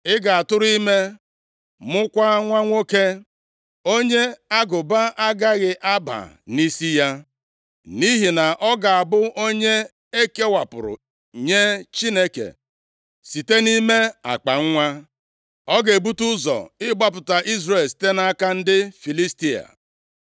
Ị ga-atụrụ ime, mụkwaa nwa nwoke, onye agụba agaghị aba nʼisi ya, + 13:5 \+xt Ọnụ 6:5; 6:2; 1Sa 1:11\+xt* nʼihi na ọ ga-abụ onye e kewapụrụ nye Chineke site nʼime akpanwa. Ọ ga-ebute ụzọ nʼịgbapụta Izrel site nʼaka ndị Filistia.”